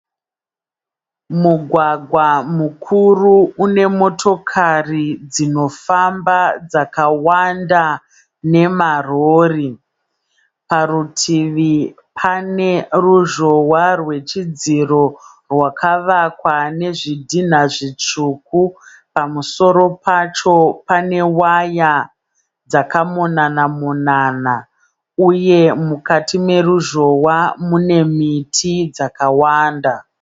Mugwagwa mukuru unemotokare zvinofamba zvakawanda nema rori. Parutivi paneruzhowa recherudziro rwakavakwa nezvidhinha zvisvuku. Pamusoro pacho panewaya dzakamonana monana, uye mukati meruzhowa munemiti yakawanda.